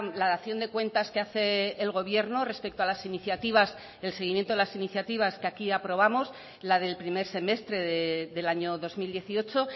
la dación de cuentas que hace el gobierno respecto a las iniciativas el seguimiento de las iniciativas que aquí aprobamos la del primer semestre del año dos mil dieciocho